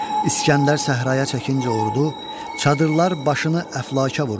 İsgəndər səhraya çəkincə ordu, çadırlar başını əflaka vurdu.